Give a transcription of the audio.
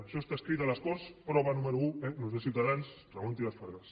això està escrit a les corts prova número un eh no és de ciutadans ramon trias fargas